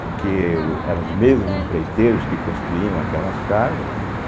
Porque o eram os mesmos empreiteiros que construíam aquelas casas, né?